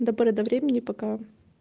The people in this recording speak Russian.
до поры до времени пока